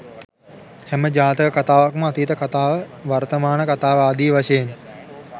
හැම ජාතක කථාවකම අතීත කථාව වර්තමාන කථාව ආදී වශයෙන්